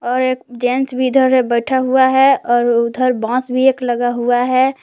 और एक जेंट्स भी इधर है बैठा हुआ है और उधर बांस भी एक लगा हुआ है।